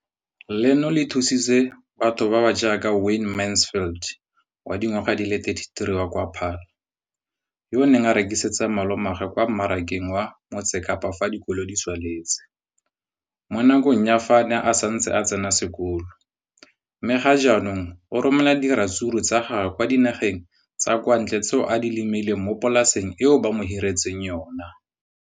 Leno le thusitse batho ba ba jaaka Wayne Mansfield, 33, wa kwa Paarl, yo a neng a rekisetsa malomagwe kwa Marakeng wa Motsekapa fa dikolo di tswaletse, mo nakong ya fa a ne a santse a tsena sekolo, mme ga jaanong o romela diratsuru tsa gagwe kwa dinageng tsa kwa ntle tseo a di lemileng mo polaseng eo ba mo hiriseditseng yona.